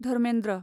Dharmendra